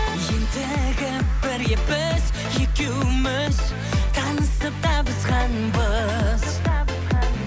ентігіп бірге біз екеуміз танысып табысқанбыз